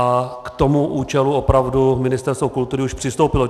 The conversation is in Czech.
A k tomu účelu opravdu Ministerstvo kultury už přistoupilo.